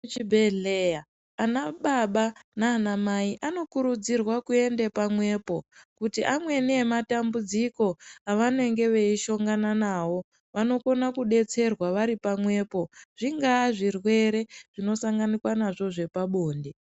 Chibhehleya vana baba nanamai anokurudzirwa kuenda pamwepo nekuti amweni nematambudziko avanenge veishongana nawo vanokona kudetsera vari pamwepo zvingava zvirwere zvinosanganikwa nazvo zvepabonde.